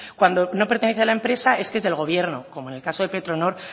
cuando no pertenece a la empresa es que es del gobierno como en el caso de petronor